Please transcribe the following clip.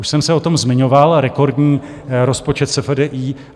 Už jsem se o tom zmiňoval - rekordní rozpočet SFDI.